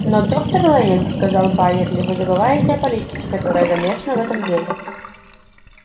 но доктор лэннинг сказал байерли вы забываете о политике которая замешана в этом деле